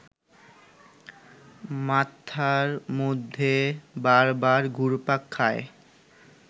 মাথার মধ্যে বারবার ঘুরপাক খায়